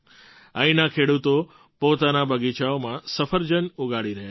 અહીંના ખેડૂતો પોતાના બગીચાઓમાં સફરજન ઉગાડી રહ્યા છે